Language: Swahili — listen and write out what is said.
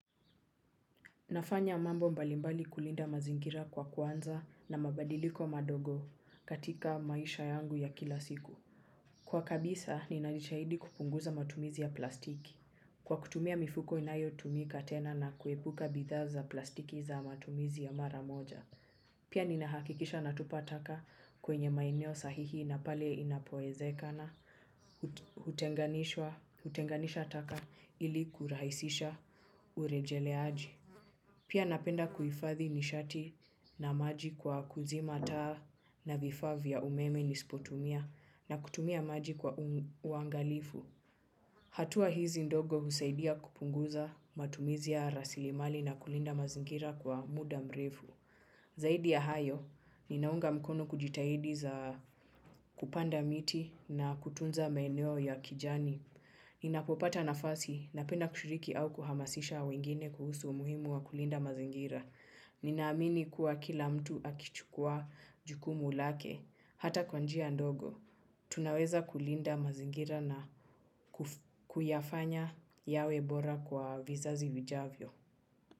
Nafanya mambo mbalimbali kulinda mazingira, kwa kuanza na mabadiliko madogo katika maisha yangu ya kila siku. Kwa kabisa, ninajitahidi kupunguza matumizi ya plastiki. Kwa kutumia mifuko inayotumika tena na kuepuka bidhaa za plastiki za matumizi ya mara moja. Pia ninahakikisha natupa taka kwenye maeneo sahihi na pale inapowezekana hutenganisha taka ili kurahisisha urejeleaji. Pia napenda kuhifadhi nishati na maji kwa kuzima taa na vifaa vya umeme nisivyotumia na kutumia maji kwa uangalifu. Hatua hizi ndogo husaidia kupunguza matumizi ya rasilimali na kulinda mazingira kwa muda mrefu. Zaidi ya hayo, ninaunga mkono kujitahidi za kupanda miti na kutunza maeneo ya kijani. Ninapopata nafasi napenda kushiriki au kuhamasisha wengine kuhusu umuhimu wa kulinda mazingira. Ninaamini kuwa kila mtu akichukua jukumu lake, hata kwa njia ndogo. Tunaweza kulinda mazingira na kuyafanya yawe bora kwa vizazi vijavyo.